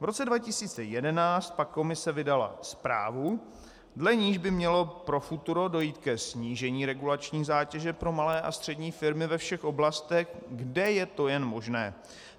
V roce 2011 pak Komise vydala zprávu, dle níž by mělo pro futuro dojít ke snížení regulační zátěže pro malé a střední firmy ve všech oblastech, kde je to jen možné.